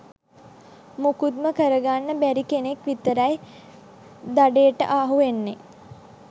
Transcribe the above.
මුකුත්ම කරගන්න බැරි කෙනෙක් විතරයි දඩේට අහු වෙන්නේ.